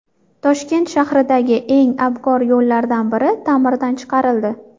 Toshkent shahridagi eng abgor yo‘llardan biri ta’mirdan chiqarildi .